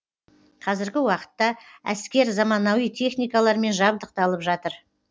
қазіргі уақытта әскер заманауи техникалармен жабдықталып жатыр